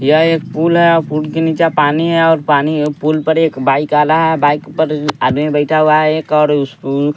यह एक पुल है और पुल के नीचे पानी है और पानी उ पुल पर एक बाइक आ रहा है बाइक पर आदमी बैठा हुआ है एक और उस कु --